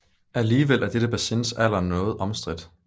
Alligevel er dette bassins alder noget omstridt